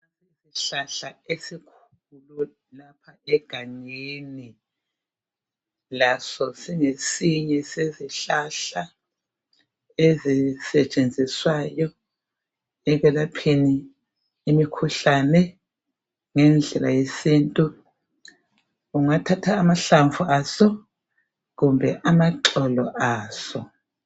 Isihlahla esikhulu lapha esisegangeni. Laso singesinye sezihlahla ezisetshenziswayo ekwelapheni imikhuhlane ngendlela yesintu. Ungathatha amahlamvu aso kumbe amaxolo aso.